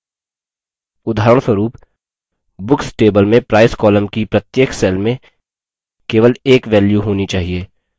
उदाहरणस्वरूप books table में price column की प्रत्येक cell में केवल एक value होनी चाहिए